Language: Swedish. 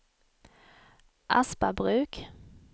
Aspabruk